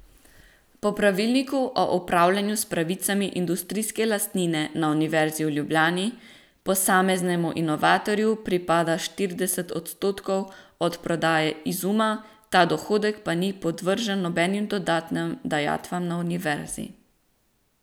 Po pravilniku o upravljanju s pravicami industrijske lastnine na Univerzi v Ljubljani posameznemu inovatorju pripada štirideset odstotkov od prodaje izuma, ta dohodek pa ni podvržen nobenim dodatnim dajatvam na Univerzi.